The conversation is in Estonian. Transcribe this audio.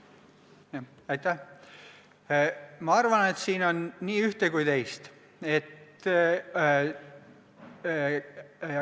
Ma arvan, et siin on nii ühte kui ka teist.